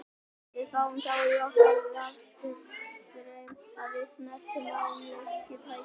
Við fáum þá í okkur rafstraum ef við snertum málmhylki tækisins.